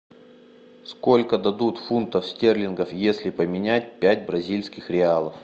сколько дадут фунтов стерлингов если поменять пять бразильских реалов